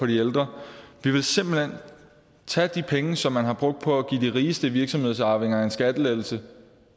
de ældre vi vil simpelt hen tage de penge som man har brugt på at give de rigeste virksomhedsarvinger en skattelettelse